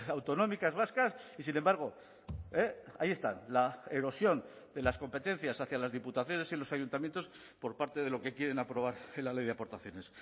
autonómicas vascas y sin embargo ahí están la erosión de las competencias hacia las diputaciones y los ayuntamientos por parte de lo que quieren aprobar en la ley de aportaciones